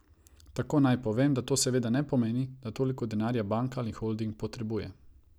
Takoj naj povem, da to seveda ne pomeni, da toliko denarja banka ali holding potrebuje.